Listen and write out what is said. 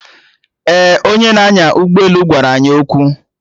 Ee, onye na-anya ụgbọelu gwara anyị okwu